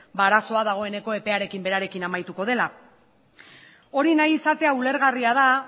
ba arazoa dagoeneko epearekin berarekin amaituko dela hori nahi izatea ulergarria da